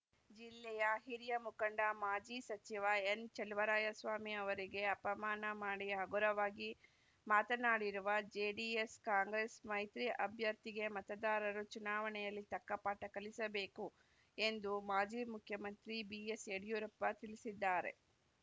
ಜಿಲ್ಲೆಯ ಹಿರಿಯ ಮುಖಂಡ ಮಾಜಿ ಸಚಿವ ಎನ್‌ಚಲುವರಾಯಸ್ವಾಮಿ ಅವರಿಗೆ ಅಪಮಾನ ಮಾಡಿ ಹಗುರವಾಗಿ ಮಾತನಾಡಿರುವ ಜೆಡಿಎಸ್‌ ಕಾಂಗ್ರೆಸ್‌ ಮೈತ್ರಿ ಅಭ್ಯರ್ಥಿಗೆ ಮತದಾರರು ಚುನಾವಣೆಯಲ್ಲಿ ತಕ್ಕಪಾಠ ಕಲಿಸಬೇಕು ಎಂದು ಮಾಜಿ ಮುಖ್ಯಮಂತ್ರಿ ಬಿಎಸ್‌ಯಡಿಯೂರಪ್ಪ ತಿಳಿಸಿದ್ದಾರೆ